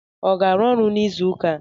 Ọ ga-arụ ọrụ n'izụka a?